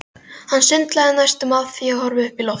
Hann sundlaði næstum af því að horfa upp í loftið.